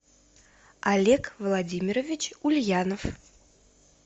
олег владимирович ульянов